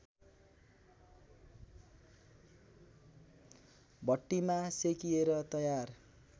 भट्टीमा सेकिएर तयार